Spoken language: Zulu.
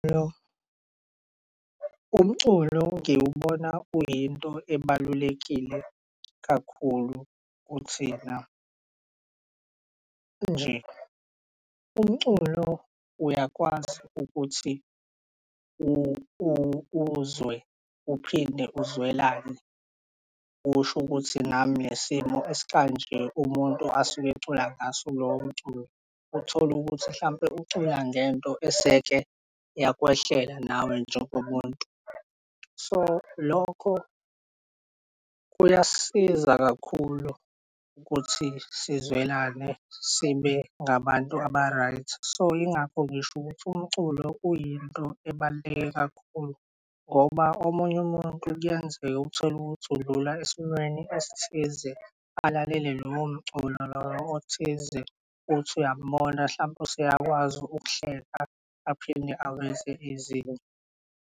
Umculo ngiwubona kuyinto ebalulekile kakhulu kuthina, nje. Umculo uyakwazi ukuthi uzwe uphinde uzwelane. Usho ukuthi nami nesimo esikanje umuntu asuke ecula ngaso lowo mculo, uthol'ukuthi mhlampe ucula ngento eseke yakwehlela nawe njengomuntu. So, lokho kuyasiza kakhulu ukuthi sizwelane sibe ngabantu aba-right. So, yingakho ngish'ukuthi umculo uyinto ebaluleke kakhulu ngoba omunye umuntu kuyenzeka utholukuthi udlula esimweni esithize alalele loyo mculo loyo othize, uthi uyambona hlampe useyakwazi ukuhleka aphinde aveze izinyo.